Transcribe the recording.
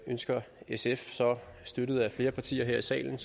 ønsker sf så støttet af flere partier her i salen